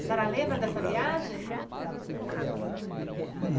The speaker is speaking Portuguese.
A senhora lembra dessa viagem?